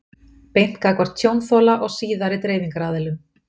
beint gagnvart tjónþola og síðari dreifingaraðilum?